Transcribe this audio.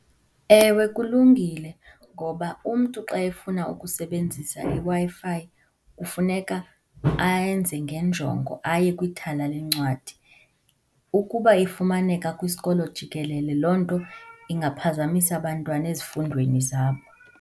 Ewe kulungile, ngoba umntu xa efuna ukusebenzisa iWi-Fi kufuneka ayenze ngenjongo, aye kwithala lencwadi. Ukuba ifumaneka kwisikolo jikelele loo nto ingaphazamisa abantwana ezifundweni zabo.